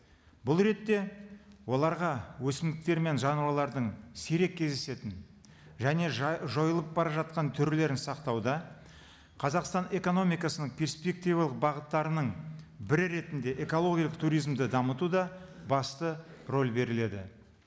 бұл ретте оларға өсімдіктер мен жануарлардың сирек кездесетін және жойылып бара жатқан түрлерін сақтауда қазақстан экономикасының перспективалық бағыттарының бірі ретінде экологиялық туризмді дамытуда басты роль беріледі